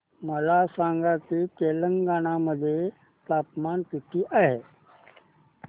मला सांगा की तेलंगाणा मध्ये तापमान किती आहे